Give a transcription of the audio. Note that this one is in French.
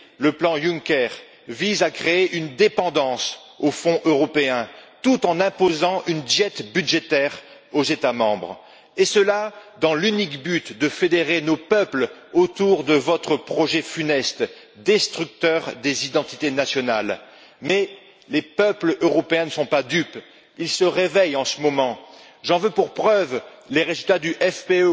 le plan Juncker vise à créer une dépendance aux fonds européens tout en imposant une diète budgétaire aux États membres, et cela dans l'unique but de fédérer nos peuples autour de votre projet funeste, destructeur des identités nationales. Mais les peuples européens ne sont pas dupes, ils se réveillent en ce moment, j'en veux pour preuve les résultats du